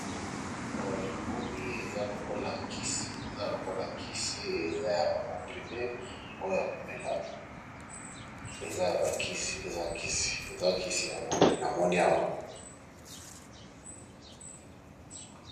Oyo na moni eza lokola kisi eza ya ba comprime oyo ya komela eza ya bakisi eza kisi eza kisi yango nde na moni awa